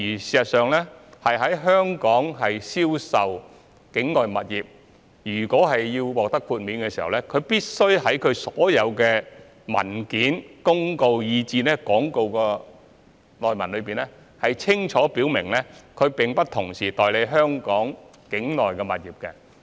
事實上，若要在香港銷售境外物業並獲得豁免，必須在其所有文件、公告以至廣告的內文中，清楚表明沒有同時代理香港境內的物業。